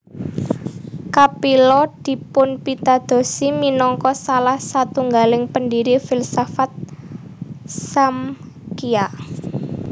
Kapila dipunpitadosi minangka salah satunggaling pendiri filsafat Smkhya